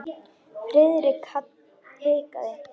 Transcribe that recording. Friðrik hikaði.